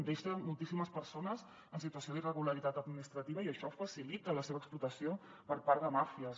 deixa moltíssimes persones en situació d’irregularitat administrativa i això facilita la seva explotació per part de màfies